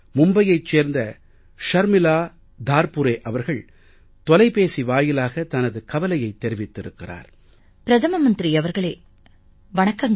மும்பையைச் சேர்ந்த ஷர்மிலா தார்புறே தார்புரே அவர்கள் தொலைபேசி வாயிலாக தனது கவலையைத் தெரிவித்திருக்கிறார் பிரதம மந்திரி அவர்களே வணக்கங்கள்